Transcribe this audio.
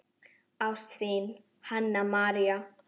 Ást, þín, Hanna María.